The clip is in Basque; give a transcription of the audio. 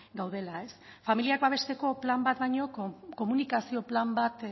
gaudela familiak babesteko plan bat baino komunikazio plan bat